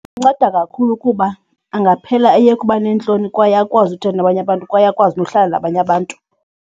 Inceda kakhulu kuba angaphela eyeka uba neentloni kwaye akwazi ukuthetha nabanye abantu kwaye akwazi nokuhlala nabanye abantu.